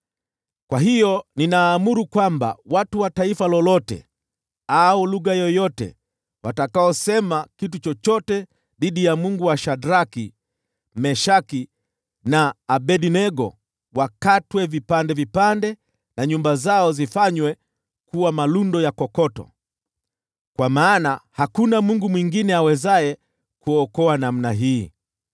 Kwa hiyo ninaamuru kwamba watu wa taifa lolote au lugha yoyote watakaosema kitu chochote dhidi ya Mungu wa Shadraki, Meshaki na Abednego wakatwe vipande vipande na nyumba zao zifanywe kuwa malundo ya kokoto, kwa maana hakuna mungu mwingine awezaye kuokoa namna hii.”